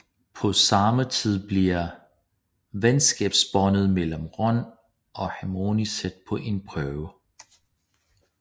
På samme tid bliver venskabsbåndet mellem Ron og Hermione sat på en prøve